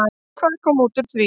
Og hvað kom út úr því?